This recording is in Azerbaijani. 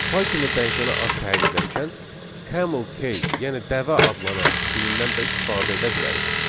Python-da dəyişənə ad təyin edərkən, Camel case, yəni dəvə adlanan stilindən də istifadə edə bilərik.